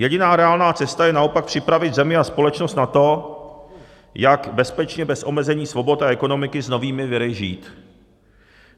Jediná reálná cesta je naopak připravit zemi a společnost na to, jak bezpečně bez omezení svobod a ekonomiky s novými viry žít.